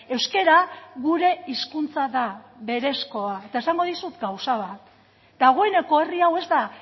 euskara gure hizkuntza da berezkoa eta esango dizut gauza bat dagoeneko herri hau ez da